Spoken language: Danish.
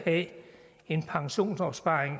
af pensionsopsparing